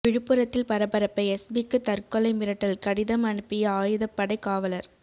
விழுப்புரத்தில் பரபரப்பு எஸ்பிக்கு தற்கொலை மிரட்டல் கடிதம் அனுப்பிய ஆயுதப்படை காவலர்